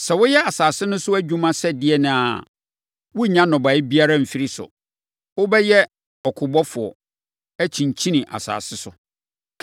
Sɛ woyɛ asase no so adwuma sɛ ɛdeɛn ara a, worennya nnɔbaeɛ biara mfiri so. Wobɛyɛ ɔkobɔfoɔ, akyinkyin asase so.”